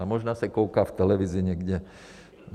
A možná se kouká v televizi někde.